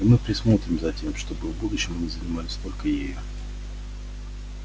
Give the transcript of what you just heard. и мы присмотрим за тем чтобы в будущем они занимались только ею